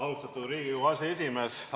Austatud Riigikogu aseesimees!